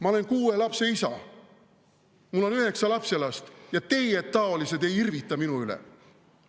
Ma olen kuue lapse isa, mul on üheksa lapselast, ja teietaolised ei irvita minu üle!